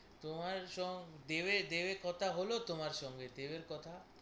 তোমার সঙ্গ দেবের দেবের কথা হলো তোমার সঙ্গে দেবের কথা?